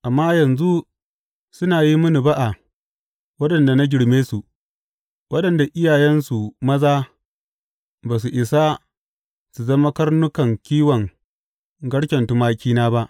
Amma yanzu suna yi mini ba’a waɗanda na girme su, waɗanda iyayensu maza ba su isa su zama karnukan kiwon garken tumakina ba.